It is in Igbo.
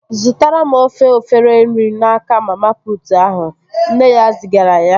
Zụtara m ofu efere nri n'aka mama putu ahụ! Nne ya zigara ya